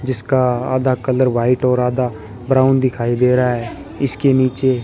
जिसका आधा colour white और आधा ब्राउन दिखाई दे रहा है इसके नीचे--